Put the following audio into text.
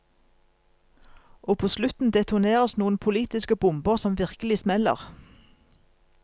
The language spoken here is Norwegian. Og på slutten detoneres noen politiske bomber som virkelig smeller.